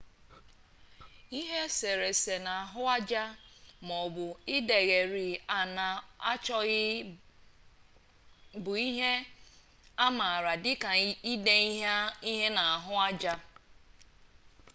ihe eserese na ahuaja maobu idegheri ana achoghi bu ihe amaara dika ide ihe na ahu aja